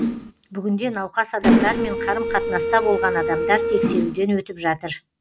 бүгінде науқас адамдармен қарым қатынаста болған адамдар тексеруден өтіп жатыр